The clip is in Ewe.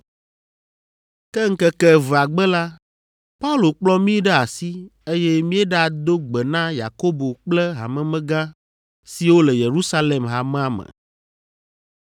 Ke ŋkeke evea gbe la, Paulo kplɔ mí ɖe asi, eye míeɖado gbe na Yakobo kple hamemegã siwo le Yerusalem hamea me.